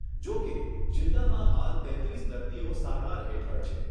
જો કે, જીલ્લામાં હાલ તેત્રીસ દર્દીઓ સારવાર હેઠળ છે.